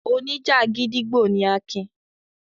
Oníjà gídígbò ni Akin.